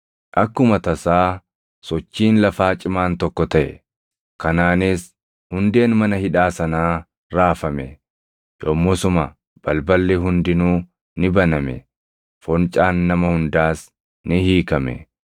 Akkuma tasaa sochiin lafaa cimaan tokko taʼe; kanaanis hundeen mana hidhaa sanaa raafame; yommusuma balballi hundinuu ni baname; foncaan nama hundaas ni hiikame.